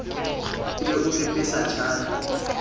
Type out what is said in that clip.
e be o pepesa tjhate